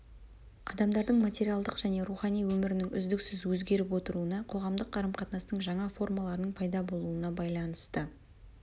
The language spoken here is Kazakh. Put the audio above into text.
адамдардың материалдық және рухани өмірінің үздіксіз өзгеріп отыруына қоғамдық қарым қатынастың жаңа формаларының пайда болуына байланысты